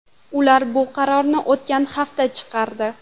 Ular bu qarorni o‘tgan haftada chiqardi.